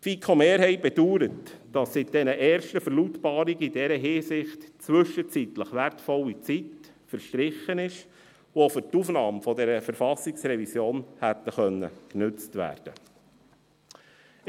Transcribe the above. Die FiKo-Mehrheit bedauert, dass seit den ersten Verlautbarungen in dieser Hinsicht zwischenzeitlich wertvolle Zeit verstrichen ist, welche für die Aufnahme dieser Verfassungsrevision hätte genutzt werden können.